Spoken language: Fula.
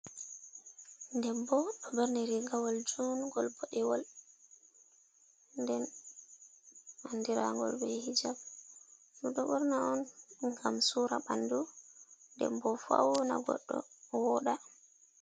Debbo ɗo ɓorni rigawol juungol boɗewol, nden andiraagol be hijab, ɗum ɗo ɓorna on ngam suura ɓandu nden boo fauna goɗɗo wooɗa.